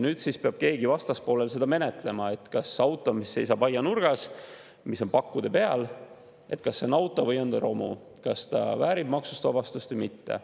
Nüüd siis peab keegi vastaspoolel seda menetlema, et kas auto, mis seisab aianurgas, mis on pakkude peal, on auto või on romu, kas ta väärib maksust vabastust või mitte.